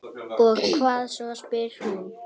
Og hvað svo, spyr hún.